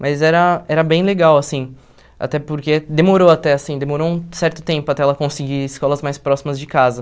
Mas era era bem legal, assim, até porque demorou até, assim, demorou um certo tempo até ela conseguir escolas mais próximas de casa.